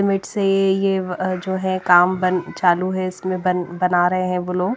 मिट से ये अह जो है काम बन चालू है इसमें बन बना रहे हैं वो लोग।